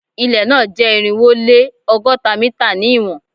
Ilẹ na jẹ irinwo o le ọgọta mita ni iwọn